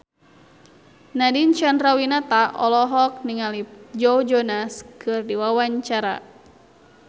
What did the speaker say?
Nadine Chandrawinata olohok ningali Joe Jonas keur diwawancara